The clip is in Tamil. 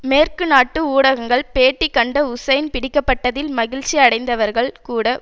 மேற்கு நாட்டு ஊடகங்கள் பேட்டி கண்ட ஹூசைன் பிடிக்கப்பட்டதில் மகிழ்ச்சி அடைந்தவர்கள் கூட